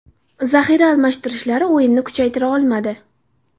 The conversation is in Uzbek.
Zaxira almashtirishlari o‘yinni kuchaytira olmadi.